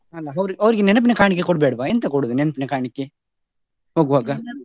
ಅಲ್ಲ ಅವ್ರು ಅವರಿಗೆ ನೆನಪಿನ ಕಾಣಿಕೆ ಕೊಡು ಬೇಡ್ವ ಎಂತ ಕೊಡುದು ನೆನಪಿನ ಕಾಣಿಕೆ, ಹೋಗುವಾಗ?